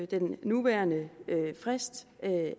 den nuværende frist